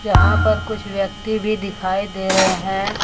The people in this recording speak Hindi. जहां पर कुछ व्यक्ति भी दिखाई दे रहे हैं।